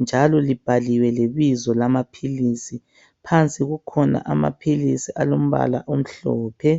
njalo libhaliwe lebizo lamaphilizi. Phansi kukhona amaphilizi alombala omhlophe.